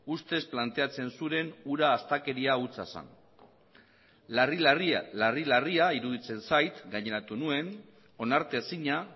ustez planteatzen zuren hura astakeria hutsa zen larri larria iruditzen zait gaineratu nuen onartezina